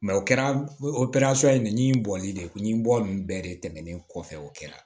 o kɛra o in bɔli de ye kun bɔ ninnu bɛɛ de tɛmɛnen kɔfɛ o kɛra